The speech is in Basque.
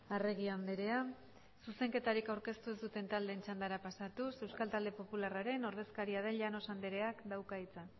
arregi andrea zuzenketarik aurkeztu ez duten taldeen txandara pasatuz euskal talde popularraren ordezkaria den llanos andreak dauka hitza